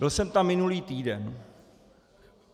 Byl jsem tam minulý týden.